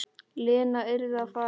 Lena yrði að fara.